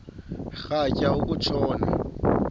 rhatya uku tshona